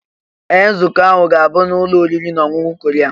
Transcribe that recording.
Ee! Nzukọ ahụ ga-abụ n'ụlọ oriri na ọṅụṅụ Korea.